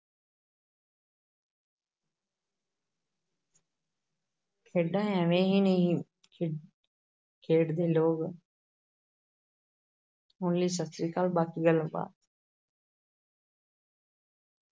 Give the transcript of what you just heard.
ਖੇਡਾਂ ਇਵੇਂ ਹੀ ਨਹੀਂ ਖੇ ਖੇਡਦੇ ਲੋਕ ਹੁਣ ਲਈ ਸਤਿ ਸ੍ਰੀ ਅਕਾਲ ਬਾਕੀ ਗੱਲ ਬਾ